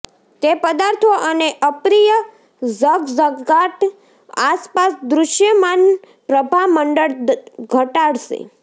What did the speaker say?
તે પદાર્થો અને અપ્રિય ઝગઝગાટ આસપાસ દૃશ્યમાન પ્રભામંડળ ઘટાડશે